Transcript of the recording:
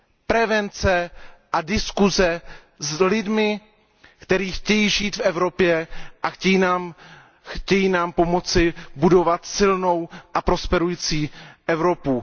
Prevence a diskuse s lidmi, kteří chtějí žít v Evropě a chtějí nám pomoci budovat silnou a prosperující Evropu.